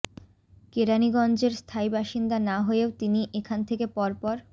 কেরানীগঞ্জের স্থায়ী বাসিন্দা না হয়েও তিনি এখান থেকে পরপর